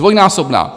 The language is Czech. Dvojnásobná.